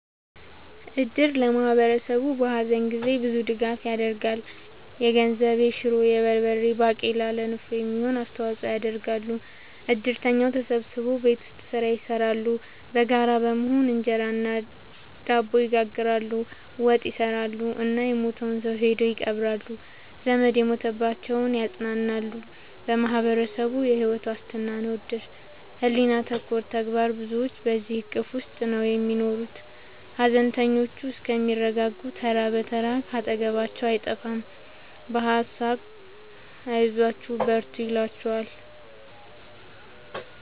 እድር ለማህበረሰቡ በሀዘን ጊዜ ብዙ ድጋፍ ይደረጋል። የገንዘብ፣ የሹሮ፣ የበርበሬ ባቄላ ለንፍሮ የሚሆን አስተዋጽኦ ያደርጋሉ። እድርተኛው ተሰብስቦ ቤት ውስጥ ስራ ይሰራሉ በጋራ በመሆን እንጀራ እና ድብ ይጋግራሉ፣ ወጥ ይሰራሉ እና የሞተውን ሰው ሄደው ይቀብራሉ። ዘመድ የሞተባቸውን ያፅናናሉ በማህበረሰቡ የሕይወት ዋስትና ነው እድር ሕሊና ተኮር ተግባር ብዙዎች በዚሕ እቅፍ ውስጥ ነው የሚኖሩት ሀዘነተኞቹ እስከሚረጋጉ ተራ ብትር ካጠገባቸው አይጠፍም በሀሳብ አይዟችሁ በርቱ ይሏቸዋል።